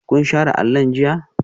Kun share allon jiya?